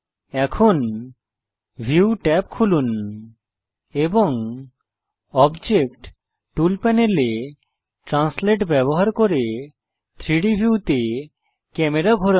এখন view tab খুলুন এবং অবজেক্ট টুল প্যানেলে ট্রান্সলেট ব্যবহার করে 3ডি ভিউতে ক্যামেরা ঘোরান